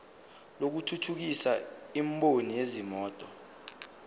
lokuthuthukisa imboni yezimoto